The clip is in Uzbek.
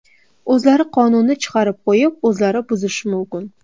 O‘zlari qonunni chiqarib qo‘yib, o‘zlari buzishi mumkin.